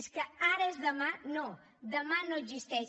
és que ara és demà no demà no existeix